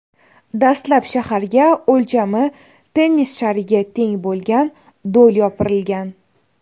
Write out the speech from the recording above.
Dastlab shaharga o‘lchami tennis shariga teng bo‘lgan do‘l yopirilgan.